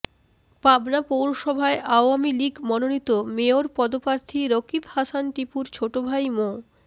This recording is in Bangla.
পাবনা পৌরসভায় আওয়ামী লীগ মনোনীত মেয়র পদপ্রার্থী রকিব হাসান টিপুর ছোট ভাই মো